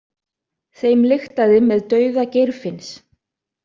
Þeim lyktaði með dauða Geirfinns.